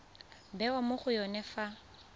bewa mo go yone fa